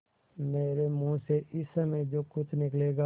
मेरे मुँह से इस समय जो कुछ निकलेगा